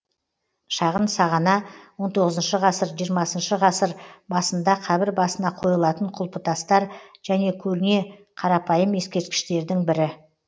шағын сағана он тоғызыншы ғасыр жиырмасыншы ғасыр басында қабір басына қойылатын құлпытастар және көне қарапайым ескерткіштердің бірі